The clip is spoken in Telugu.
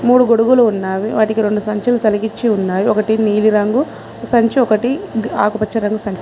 మూడు గొడుగులు ఉన్నవి వాటికి రెండు సంచులు తలిగిచ్చి ఉన్నాయి ఒకటి నీలిరంగు సంచి ఒకటి ఆకుపచ్చ రంగు--